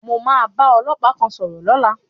Mo máa bá ọlọ́pàá kan sọ̀rọ̀ lọ́la.